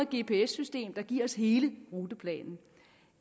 gps system der giver os hele ruteplanen